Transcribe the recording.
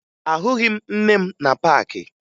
Ahụghị m nne m na paakị